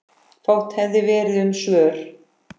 Fátt hefði verið um svör.